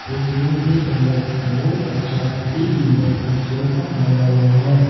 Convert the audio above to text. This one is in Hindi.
इस रूम के अंदर बहुत अच्छा अति सुंदर एक सोफा लगा हुआ है।